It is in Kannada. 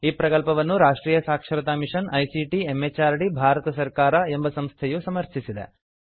ಈ ಪ್ರಕಲ್ಪವನ್ನು ರಾಷ್ಟ್ರೀಯ ಸಾಕ್ಷರತಾ ಮಿಷನ್ ಐಸಿಟಿ ಎಂಎಚಆರ್ಡಿ ಭಾರತ ಸರ್ಕಾರ ಎಂಬ ಸಂಸ್ಥೆಯು ಸಮರ್ಥಿಸಿದೆ